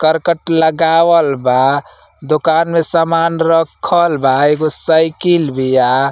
करकट लगावल बा। दुकान में सामान रखल बा। एगो साइकिल बिया।